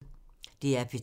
DR P3